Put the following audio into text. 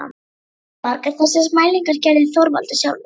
Margar þessara mælinga gerði Þorvaldur sjálfur.